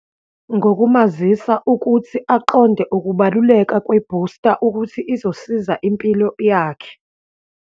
Ngokumazisa ukuthi aqonde ukubaluleka kwebhusta ukuthi izosiza impilo yakhe.